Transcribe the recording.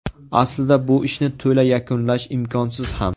Aslida bu ishni to‘la yakunlash imkonsiz ham.